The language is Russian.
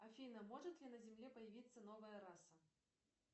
афина может ли на земле появиться новая раса